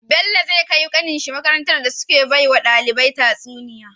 Sani zai kai kanin shi makarantar da suke bawa ɗalibai tsuniya